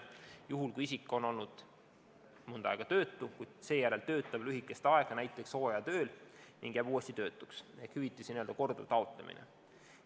Näiteks juhtum, kui isik on olnud mõnda aega töötu, kuid seejärel töötab lühikest aega näiteks hooajatööl ning jääb uuesti töötuks ehk tegu on hüvitise korduva taotlemisega.